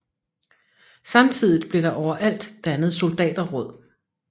Samtidigt blev der overalt dannet soldaterråd